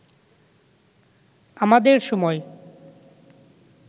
আমদের সময়